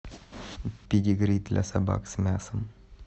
педигри для собак с мясом